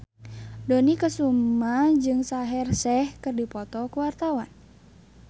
Dony Kesuma jeung Shaheer Sheikh keur dipoto ku wartawan